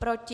Proti?